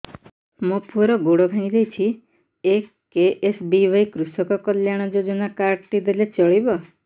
ମୋ ପୁଅର ଗୋଡ଼ ଭାଙ୍ଗି ଯାଇଛି ଏ କେ.ଏସ୍.ବି.ୱାଇ କୃଷକ କଲ୍ୟାଣ ଯୋଜନା କାର୍ଡ ଟି ଦେଲେ ଚଳିବ